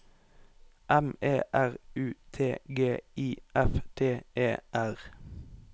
M E R U T G I F T E R